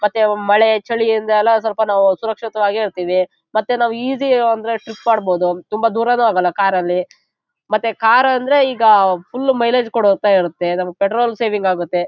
ಮತ್ತೆ ಮಳೆ ಚಳಿಯಿಂದೆಲ್ಲಾ ಸ್ವಲ್ಪ ನಾವು ಸುರಕ್ಷಿತವಾಗಿ ಇರತ್ತಿವಿ ಮತ್ತೆ ನಾವು ಈಸಿ ಅಂದ್ರೆ ಟ್ರಿಪ್ ಮಾಡಬಹುದು ತುಂಬಾ ದುರನೇ ಹೋಗಲ್ಲಾ ಕಾರ್ ಅಲ್ಲಿ ಮತ್ತೆ ಕಾರ್ ಅಂದ್ರೆ ಈಗ ಫುಲ್ ಮೈಲೇಜ್ ಕೊಡತಾ ಇರುತ್ತೆ ಮತ್ತೆ ಪೆಟ್ರೋಲ್ ಸೇವಿಂಗ್ ಆಗುತ್ತೆ.